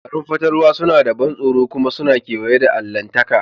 Labarun fatalwa suna da ban tsoro kuma suna kewaye da allahntaka.